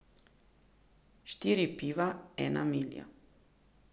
Štiri piva, ena milja.